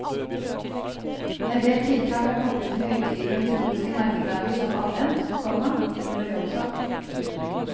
En del tiltak er koplet til høytider og historiske merkedager som advent, komma jul og jonsok. punktum